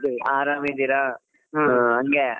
ಅರಾಮಿದ್ದಿರಾ ಹ್ಮ್‌ ಹಂಗೆ.